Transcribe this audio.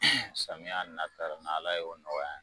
samiya na ta n' ala ye o nɔgɔya